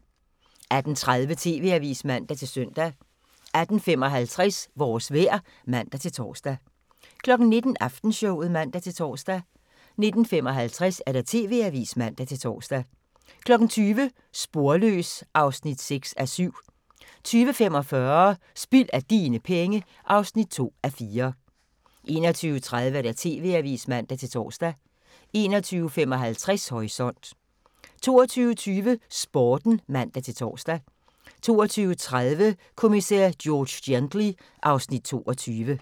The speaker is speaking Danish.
18:30: TV-avisen (man-søn) 18:55: Vores vejr (man-tor) 19:05: Aftenshowet (man-tor) 19:55: TV-avisen (man-tor) 20:00: Sporløs (6:7) 20:45: Spild af dine penge (2:4) 21:30: TV-avisen (man-tor) 21:55: Horisont 22:20: Sporten (man-tor) 22:30: Kommissær George Gently (Afs. 22)